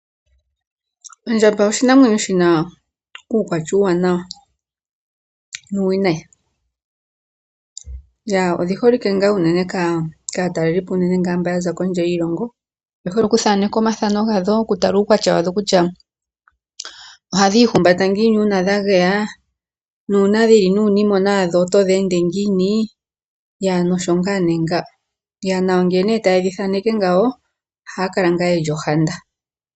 Ondjamba oshinamwenyo shi na uukwatya uuwanawa nuuwinayi. Odhi holike ngaa unene kaatalelipo unene mba ya za kondje yiilongo. Oye hole okuthaneka omathano gadho, okutala uukwatya wadho kutya ohadhi ihumbata ngiini uuna dha geya nuuna dhi li nuunimona wadho oto dhi ende ngiini, osho ngaa nee nga. Ngele nee taye dhi thaneke ngawo ohaya kala ngaa ye li ohanda.